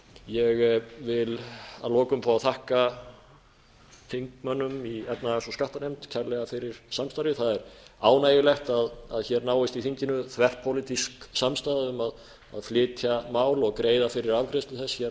ég vil að lokum fá að þakka þingmönnunum í efnahags og skattanefnd kærlega fyrir samstarfið það er ánægjulegt að hér náist í þinginu þverpólitísk samstaða um að flytja mál og greiða fyrir afgreiðslu